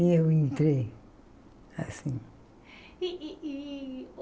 E eu entrei, assim.